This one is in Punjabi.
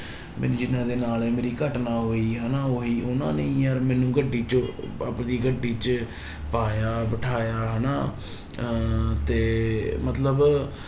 ਮੈਨੂੰ ਜਿਹਨਾਂ ਦੇ ਨਾਲ ਇਹ ਮੇਰੀ ਘਟਨਾ ਹੋਈ ਹਨਾ, ਉਹੀ ਉਹਨਾਂ ਨੇ ਹੀ ਯਾਰ ਮੈਨੂੰ ਗੱਡੀ ਚ ਆਪਦੀ ਗੱਡੀ ਚ ਪਾਇਆ ਬਿਠਾਇਆ ਹਨਾ ਅਹ ਤੇ ਮਤਲਬ